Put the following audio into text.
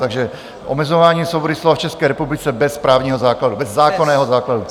Takže Omezování svobody slova v České republice bez právního základu, bez zákonného základu.